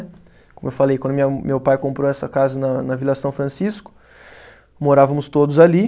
Como eu falei, quando minha, meu pai comprou essa casa na Vila São Francisco, morávamos todos ali.